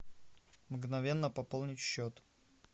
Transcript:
мгновенно пополнить счет